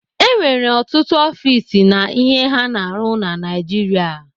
E nwere ọtụtụ ọfis na ihe ha na-arụ na Naijiria.